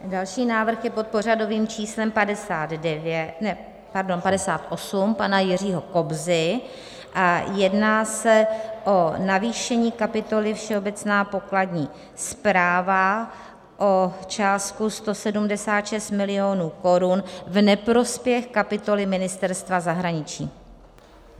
Další návrh je pod pořadovým číslem 58 pana Jiřího Kobzy a jedná se o navýšení kapitoly Všeobecná pokladní správa o částku 176 milionů korun v neprospěch kapitoly Ministerstva zahraničí.